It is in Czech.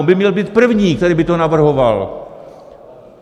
On by měl být první, který by to navrhoval.